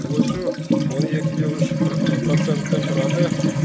осы он екі де үш процентті құрады